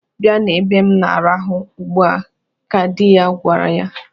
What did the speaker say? "Bịa n'ebe m na-arahụ ugbua!" ka dị ya gwara ya.